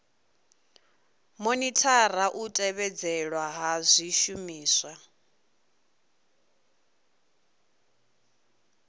monithara u tevhedzelwa ha zwishumiswa